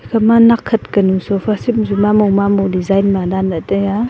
ekhama nak khat kanu sofa seat mamo mamo design ma danley taiya.